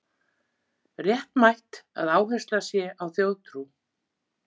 Réttmætt að áhersla sé á þjóðtrú